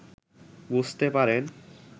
বুঝতে পারেন